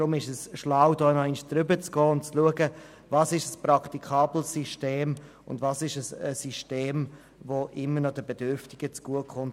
Deshalb ist es klug, nochmals darüber zu gehen und zu schauen, welches System praktikabel ist und welches System immer noch den Bedürftigen zugute kommt.